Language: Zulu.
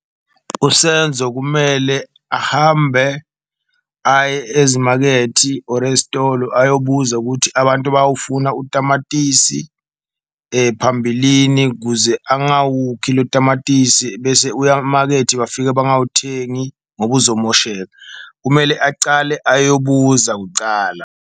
USenzo kumele ahambe aye ezimakethi or ezitolo ayobuza ukuthi abantu bawufuna utamatisi phambilini, kuze angawukhi lo tamatisi bese uya makethi bafika bangawuthengi ngoba uzomosheka. Kumele acale ayobuza kucala.